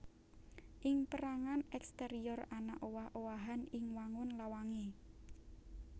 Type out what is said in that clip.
Ing pérangan èksterior ana owah owahan ing wangun lawangé